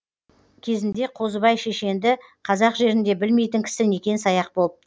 кезінде қозыбай шешенді қазақ жерінде білмейтін кісі некен саяқ болыпты